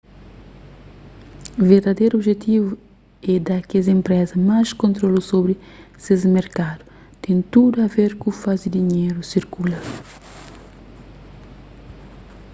verdaderu objetivu é da kes enpresa más kontrolu sobri ses merkadu ten tudu a ver ku faze dinheru sirkula